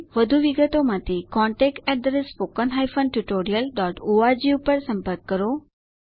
વધુ વિગતો માટે contactspoken tutorialorg પર સંપર્ક કરો